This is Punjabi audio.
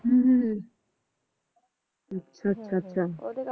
ਅਹ ਅੱਛਾ ਅੱਛਾ